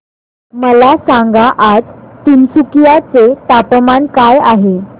मला सांगा आज तिनसुकिया चे तापमान काय आहे